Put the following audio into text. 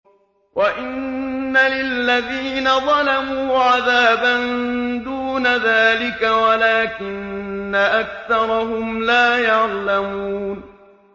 وَإِنَّ لِلَّذِينَ ظَلَمُوا عَذَابًا دُونَ ذَٰلِكَ وَلَٰكِنَّ أَكْثَرَهُمْ لَا يَعْلَمُونَ